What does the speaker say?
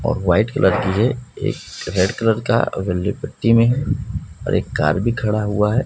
और white colour की एक रेड कलर का वाली पट्टी में है और एक कार भी खड़ा हुआ है।